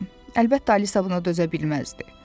Əlbəttə, Alisa buna dözə bilməzdi.